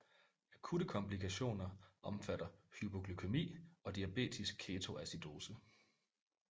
Akutte komplikationer omfatter hypoglykæmi og diabetisk ketoacidose